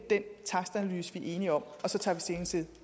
den takstanalyse vi er enige om og så tager vi stilling til